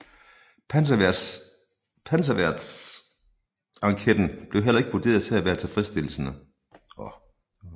Panserværnstanketten blev heller ikke vurderet til at være tilfredsstillende